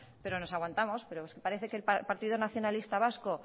pero nos aguantamos pero parece que el partido nacionalista vasco